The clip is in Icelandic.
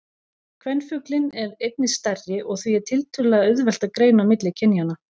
Kvenfuglinn er einnig stærri og því er tiltölulega auðvelt að greina á milli kynjanna.